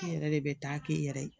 Ne yɛrɛ de bɛ taa k'i yɛrɛ ye